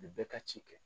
U bɛ bɛɛ ka ci kɛ